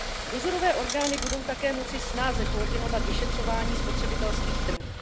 Dozorové orgány budou také moci snáze koordinovat vyšetřování spotřebitelských trhů.